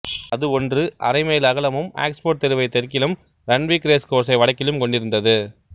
அது ஒன்று அரை மைல் அகலமும் ஆக்ஸ்போட் தெருவை தெற்கிலும் ரண்ட்விக் ரேஸ் கோர்ஸை வடக்கிலும் கொண்டிருந்தது